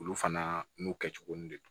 Olu fana n'u kɛcogo de don